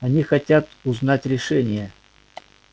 они хотят узнать решение